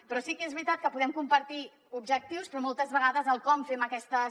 però sí que és veritat que podem compartir objectius però moltes vegades el com fem aquestes